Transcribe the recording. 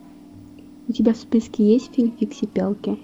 у тебя в списке есть фильм фиксипелки